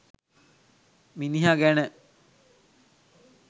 මිනිහ ගැන..